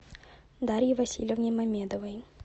дарье васильевне мамедовой